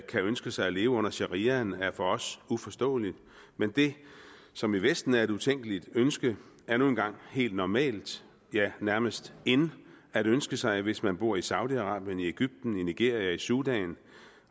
kan ønske sig at leve under shariaen er for os uforståeligt men det som i vesten er et utænkeligt ønske er nu engang helt normalt ja nærmest in at ønske sig hvis man bor i saudi arabien i egypten i nigeria i sudan